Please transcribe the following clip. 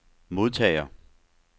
modtager